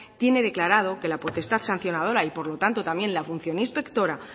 tiene declarado que la potestad sancionadora y por lo tanto también la función inspectora